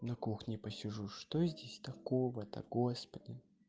на кухне посижу что здесь такого то господи